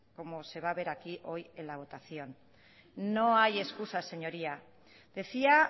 como se va a ver aquí hoy en la votación no hay excusas señoría decía